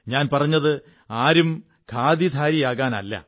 ഞാൻ പറഞ്ഞത് ആരും ഖാദീധാരിയാകാനല്ല